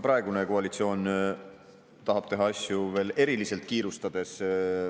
Praegune koalitsioon tahab teha asju veel eriliselt kiirustades.